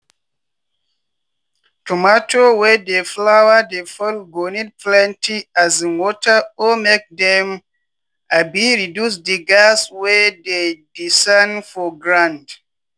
goat wey dey breathe fast fast wey heat no dey fit don get worm for throat or malaria.